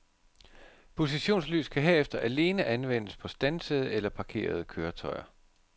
Positionslys kan herefter alene anvendes på standsede eller parkerede køretøjer.